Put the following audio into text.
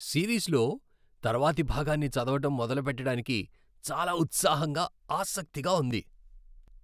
సిరీస్లో తర్వాతి భాగాన్ని చదవడం మొదలుపెట్టడానికి చాలా ఉత్సాహంగా, ఆసక్తిగా ఉంది!